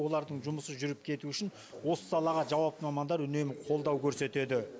олардың жұмысы жүріп кетуі үшін осы салаға жауапты мамандар үнемі қолдау көрсетеді